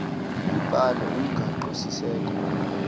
ibhale umgaqo siseko